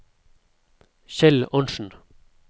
Kjell Arntsen